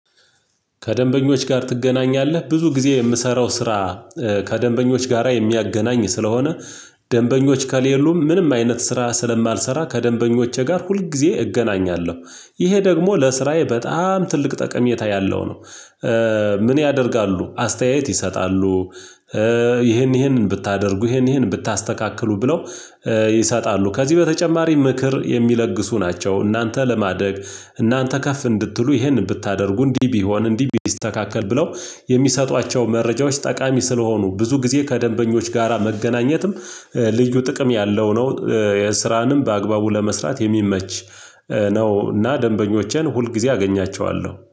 ከደንበኞች ጋር ትገናኛለህ ብዙ ጊዜ የምሰራው ስራ። ከደንበኞች ጋራ የሚያገናኝ ስለሆነ። ደንበኞች ከሌሉም ምንም አይነት ስራ ስለማልሰራ ከደንበኞቼ ጋር ሁል ጊዜ እገናኛለሁ ይሄ ለስራዬ በጣም ትልቅ ጠቀሜታ ያለው ነው። ምን ያደርጋሉ አስተያየት ይሰጣሉ? ይሄን ይሄን ብታደርጉ ይሄን ይሄን ብታስተካክሉ ብለው። ይሰጣሉ ከዚህ በተጨማሪ ምክር የሚለግሱ ናቸው። እናንተ ለማደግ እናንተ ከፍ እንድትሉ ይህንን ብታደርጉ እንዲህ ቢሆን እንዲህ ቢስተካከል ብለው። የሚሰጧቸው መረጃዎች ጠቃሚ ስለሆኑ ብዙ ጊዜ ከደንበኞች ጋራ መገናኘትም ልዩ ጥቅም ያለው ነው። የስራንም በአግባቡ ለመስራት የሚመች ነው። እና ደንበኞቼን ሁል ጊዜ አገኛቸዋለሁ